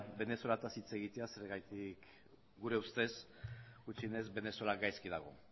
venezuelataz hitz egitera zergatik gure ustez gutxienez venezuela gaizki dago